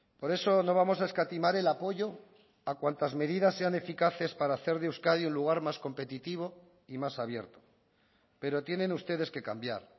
por eso no vamos a escatimar el apoyo a cuantas medidas sean eficaces para hacer de euskadi un lugar más competitivo y más abierto pero tienen ustedes que cambiar